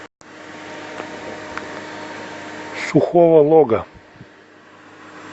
сухого лога